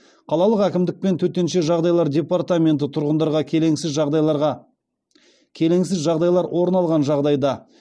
қалалық әкімдік пен төтенше жағдайлар департаменті тұрғындарға келеңсіз жағдайлар орын алған жағдайда